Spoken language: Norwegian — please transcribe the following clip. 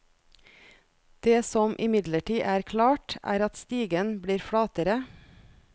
Det som imidlertid er klart, er at stigen blir flatere.